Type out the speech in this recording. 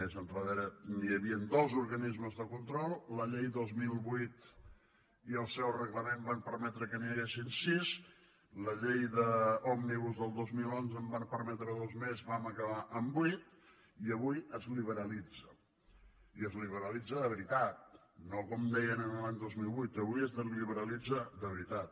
més endarrere hi havien dos organismes de control la llei del dos mil vuit i el seu reglament van permetre que n’hi haguessin sis la llei òmnibus del dos mil onze en va permetre dos més vam acabar amb vuit i avui es liberalitza i es liberalitza de veritat no com deien l’any dos mil vuit avui es liberalitza de veritat